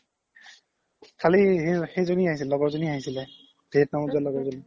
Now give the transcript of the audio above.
কালি সেই জনি আহিছিল লগৰ জনি আহিছিলে vietnam ত জুৱা লগৰ জনি